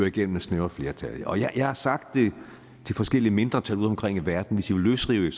igennem med snævre flertal og jeg har sagt det til forskellige mindretal udeomkring i verden hvis i vil løsrive